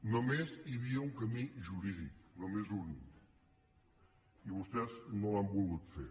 només hi havia un camí jurídic només un i vostès no l’han volgut fer